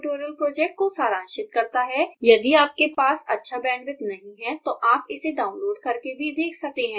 यह spoken tutorial project को सारांशित करता है यदि आपके पास अच्छा बैंडविथ नहीं है तो आप इसे डाउनलोड करके भी देख सकते हैं